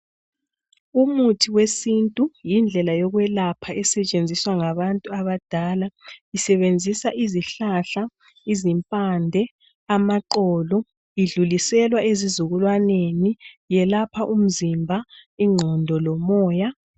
Umuthi wesintu yindlela yokwelapha esetshenziswa ngabantu abadala. Isebenzisa izihlahahla, izimpande, amaxolo. Idluliselwa ezizukulwaneneni. Yelapha umzimba, inqondo lomoya.